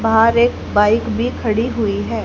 बाहर एक बाइक भी खड़ी हुई है।